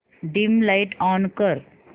dim light on कर